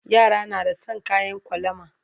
Yara na da San kayan kwalama